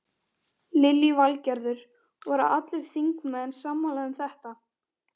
Lillý Valgerður: Voru allir þingmenn sammála um þetta?